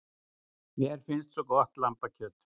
Mér finnst svo gott lambakjöt.